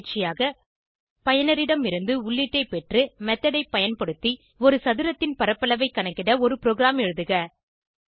பயிற்சியாக பயனரிடமிருந்து உள்ளீட்டை பெற்று மெத்தோட் ஐ பயன்படுத்தி ஒரு சதுரத்தின் பரப்பளவை கணக்கிட ஒரு ப்ரோகிராம் எழுதுக